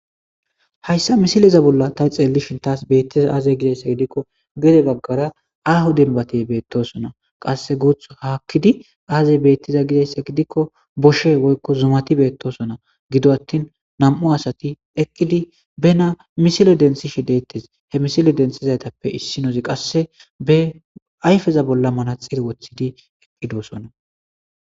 hayssa misileza bolla ta xeellishin taas beettesa aazey gidayssa gidikko gede baggara ahu denbate beettosona qasse guuth haakkidi aazey beettiza gidayssa gidikko boshe woykko zumati beettosona gido attin nam7u asati eqqidi bena misile densishe deettes he misile densizaytappe issinozi qasse be ayfeza bolla manaxil wothidi eqphidoosona